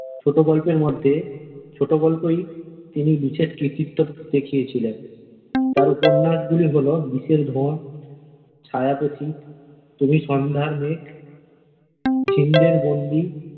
ছোট গল্পের মধ্যে ছোট গল্পেই তিনি বিশেষ কৃতিত্ব দেখিয়েছিলেন তার উপন্যাস গুলি হল বিষের ধোঁয়া, ছায়া পথিক, তুমি সন্ধ্যার মেঘ, ঝিন্দের বন্দী।